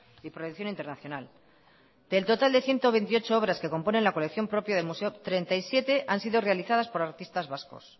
y proyección internacional del total de ciento veintiocho obras que componen la colección propia del museo treinta y siete han sido realizadas por artistas vascos